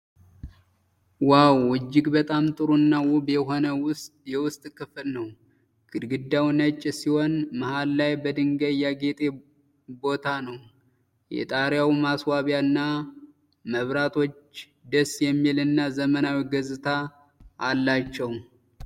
ዋው! እጅግ በጣም ጥሩ እና ውብ የሆነ የውስጥ ክፍል ነው። ግድግዳው ነጭ ሲሆን፣ መሃል ላይ በድንጋይ ያጌጠ ቦታ ነው። የጣሪያው ማስዋቢያ እና መብራቶች ደስ የሚል እና ዘመናዊ ገጽታ አላቸው።